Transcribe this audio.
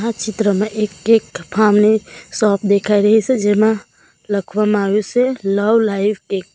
ચિત્રમાં એક cake farm ની શોપ દેખાય રહી છે જેમાં લખવામાં આવ્યું સે લવ લાઈવ કેક .